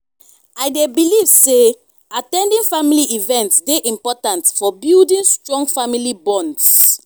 i dey believe say at ten ding family events dey important for building strong family bonds.